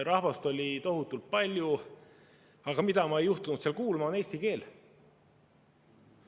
Rahvast oli tohutult palju, aga mida ma ei juhtunud seal kuulma, oli eesti keel.